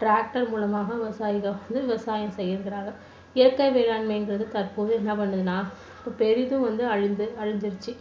tractor மூலமாக விவசாயிகள் வந்து விவசாயம் செய்கிறார்கள். இயற்கை வேளாண்மை என்பது தற்போது என்ன பண்ணுதுன்னா பெரிதும் வந்து அழிஞ்சு~அழிஞ்சிருச்சு